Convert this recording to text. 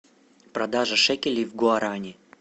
продажа шекелей в гуарани